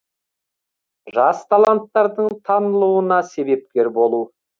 жас таланттардың танылуына себепкер болу